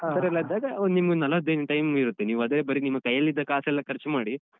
ಆ ತರ ಎಲ್ಲ ಇದ್ದಾಗ ಒಂದ್ ನಿಮ್ಗೆ ನಲವತ್ ದಿನ time ಇರುತ್ತೆ ನೀವ್ ಅದೇ ಬರಿ ನಿಮ್ ಕೈಯಲ್ಲಿದ್ದ ಕಾಸೆಲ್ಲ ಖರ್ಚ್ ಮಾಡಿ.